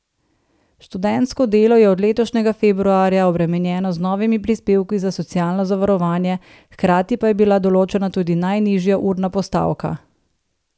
Študentsko delo je od letošnjega februarja obremenjeno z novimi prispevki za socialno zavarovanje, hkrati pa je bila določena tudi najnižja urna postavka.